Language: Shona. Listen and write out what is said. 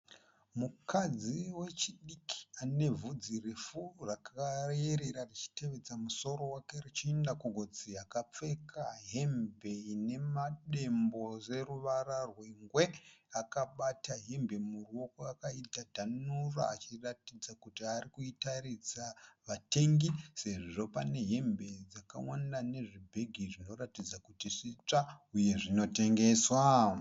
Mukadzi wechidiki anevhudzi refu rakayerera richitevedza musoro wake richienda kugotsi. Akapfeka hembe ine madembo neruvara rwengwe. Akabata hembe muruoko akaidhadhanura achiratidza kuti arikuratidza vatengi sezvo pane hembe dzakawanda nezvibhegi zvinoratidza kuti zvitsva uye zvinotengeswa.